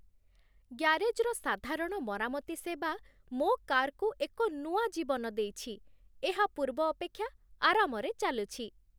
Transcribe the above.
ଗ୍ୟାରେଜ୍‌ର ସାଧାରଣ ମରାମତି ସେବା ମୋ କାର୍‌କୁ ଏକ ନୂଆ ଜୀବନ ଦେଇଛି, ଏହା ପୂର୍ବ ଅପେକ୍ଷା ଆରାମରେ ଚାଲୁଛି!